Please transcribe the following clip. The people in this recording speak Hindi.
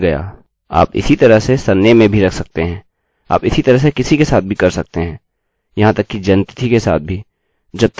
आप इसी तरह से किसी के साथ भी कर सकते हैं यहाँ तक कि जन्म तिथि के साथ भी जब तक आप यहाँ यह सम्मिलत कर रहे हैं